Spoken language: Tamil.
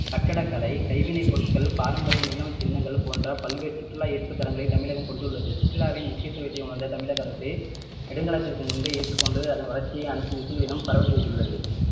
கட்டடக்கலை கைவினை பொருட்கள் பாரம்பரிய நினைவுச் சின்னங்கள் போன்ற பல்வேறு சுற்றுலா ஈர்ப்பு தலங்களை தமிழகம் கொண்டுள்ளது சுற்றுலாவின் முக்கியத்துவத்தை உணர்ந்த தமிழக அரசு நெடுங்காலத்திற்கு முன்பே ஏற்றுக்கொண்டு அதன் வளர்ச்சியை அனைத்து திசைகளிலும் பரவ செய்துள்ளது